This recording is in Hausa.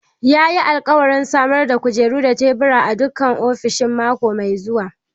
Yayi alƙawarin samar da kujeru da tebura a dukkan ofishoshin mako mai zuwa.